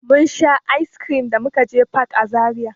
Mun sha "ice cream" da muka je fak a Zaria.